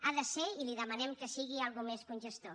ha de ser i li demanem que sigui alguna cosa més que un gestor